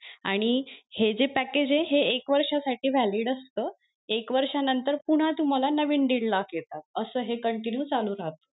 आणि हे जे package हे एक वर्षा साठी valid असत एक वर्ष नंतर पुन्हा तुम्हाला नवीन दीड लाख येतात असं हे continue चालू राहत.